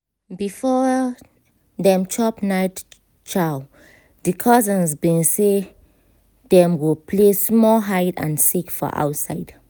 before dem chop night chow di cousins been say dem go play small hide and seek for outside